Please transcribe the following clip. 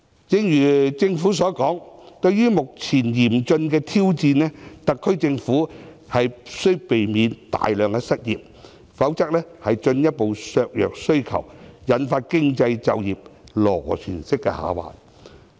正如政府所說，對於目前嚴峻的挑戰，特區政府必須避免大量失業，否則進一步削弱需求，引發經濟就業螺旋式下滑。